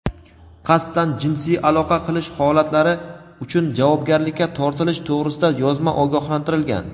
qasddan jinsiy aloqa qilish holatlari uchun javobgarlikka tortilish to‘g‘risida yozma ogohlantirilgan.